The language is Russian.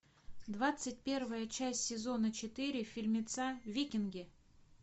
двадцать первая часть сезона четыре фильмеца викинги